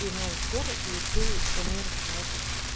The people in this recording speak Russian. и новая сферы и ты планируешь на это